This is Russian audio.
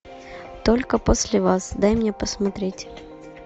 только после вас дай мне посмотреть